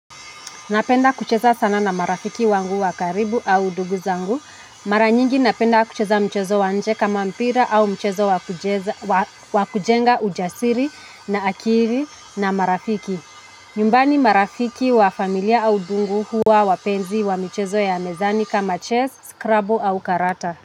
Napenda kucheza sana na marafiki wangu wa karibu au ndugu zangu. Mara nyingi napenda kucheza mchezo wa inje kama mpira au mchezo wakujenga ujasiri na akili na marafiki. Nyumbani marafiki wa familia au ndugu huwa wapenzi wa michezo ya mezani kama chess, scrubble au karata.